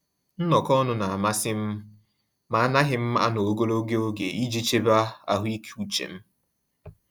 Nnọkọ ọnụ n'amasị m, ma anaghị m anọ ogologo oge iji chebe ahụike uche m.